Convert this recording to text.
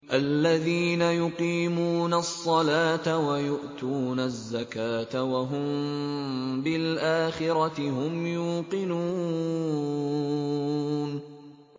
الَّذِينَ يُقِيمُونَ الصَّلَاةَ وَيُؤْتُونَ الزَّكَاةَ وَهُم بِالْآخِرَةِ هُمْ يُوقِنُونَ